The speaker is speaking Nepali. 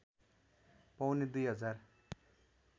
पौने दुई हजार